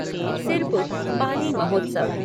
Sirpur Pali Mahotsav